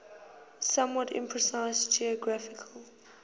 somewhat imprecise geographical